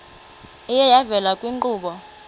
iye yavela kwiinkqubo